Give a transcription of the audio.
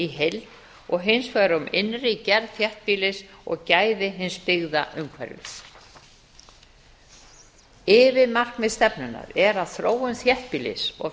heild og hins vegar um innri gerð þéttbýlis og gæði hins byggða umhverfis yfirmarkmið stefnunnar er að þróun þéttbýlis og